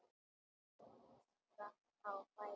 Hann spratt á fætur.